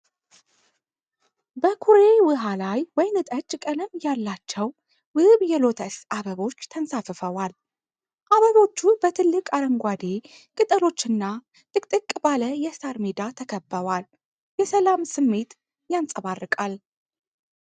በኩሬ ውሃ ላይ ወይንጠጅ ቀለም ያላቸው ውብ የሎተስ አበቦች ተንሳፍፈዋል። አበቦቹ በትልቅ አረንጓዴ ቅጠሎችና ጥቅጥቅ ባለ የሳር ሜዳ ተከበዋል። የሰላም ስሜት ያንጸባርቃል።